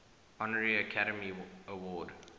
honorary academy award